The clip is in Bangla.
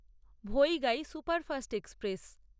Vaigai superfast express